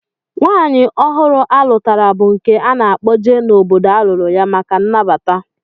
Nwaanyị ọhụrụ a lụtara bụ nke a na-akpọje n'obodo a lụrụ ya maka nnabata